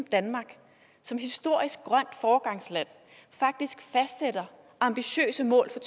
danmark som historisk grønt foregangsland faktisk fastsætter ambitiøse mål for